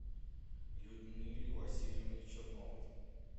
людмиле васильевне черновой